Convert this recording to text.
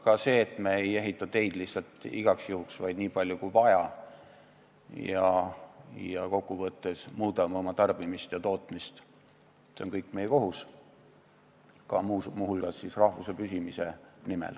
Ka see, et me ei ehita teid lihtsalt igaks juhuks, vaid nii palju kui vaja, ja kokkuvõttes muudame oma tarbimist ja tootmist, on kõik meie kohus, muu hulgas rahvuse püsimise nimel.